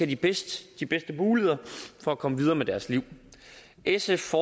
de bedste muligheder for at komme videre med deres liv sf